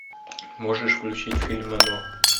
можешь включить фильм оно